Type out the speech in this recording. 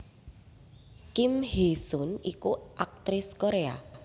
Kim Hee sun iku aktris Korea